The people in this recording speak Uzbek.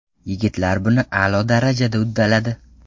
Yigitlar buni a’lo darajada uddaladi”.